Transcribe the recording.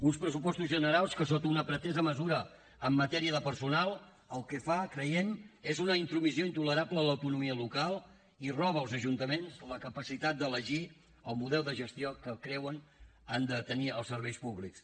uns pressupostos generals que sota una pretesa mesura en matèria de personal el que fa creiem és una intromissió intolerable a l’autonomia local i roba als ajuntaments la capacitat d’elegir el model de gestió que creuen que han de tenir els serveis públics